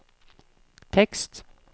tekst